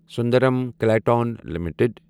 Sundaram Clayton limited